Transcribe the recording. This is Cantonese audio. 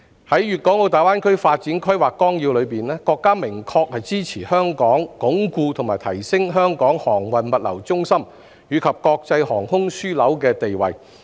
在《粵港澳大灣區發展規劃綱要》中，國家明確支持香港鞏固和提升香港航運物流中心及國際航空樞紐的地位。